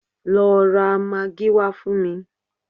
Lọ ra magí wá fún mi!